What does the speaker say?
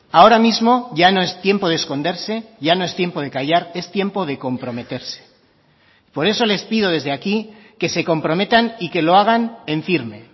ahora mismo ya no es tiempo de esconderse ya no es tiempo de callar es tiempo de comprometerse por eso les pido desde aquí que se comprometan y que lo hagan en firme